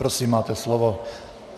Prosím, máte slovo.